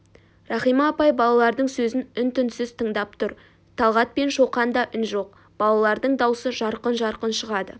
рахима апай балалардың сөзін үн-түнсіз тыңдап тұр талғат пен шоқанда үн жоқ балалардың даусы жарқын-жарқын шығады